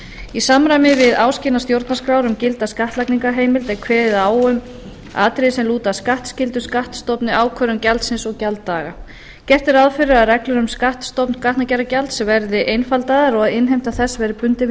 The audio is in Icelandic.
í samræmi við áskilnað stjórnarskrár um gilda skattlagningarheimild er kveðið á um atriði sem lúta að skattskyldu skattstofni ákvörðun gjaldsins og gjalddaga gert er ráð fyrir að reglur um skattstofn gatnagerðargjalds verði einfaldaðar og innheimta þess verði bundin við